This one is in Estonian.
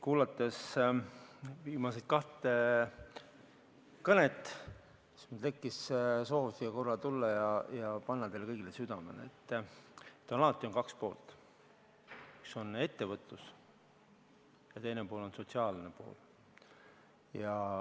Kuulates viimast kahte kõnet, mul tekkis soov korra siia tulla ja panna teile kõigile südamele, et alati on kaks poolt: üks on ettevõtlus ja teine on sotsiaalne pool.